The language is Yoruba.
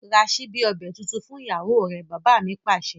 Ra síbi ọbẹ̀ tuntun fún ìyàwó rẹ! Bàbá mi Pàṣẹ.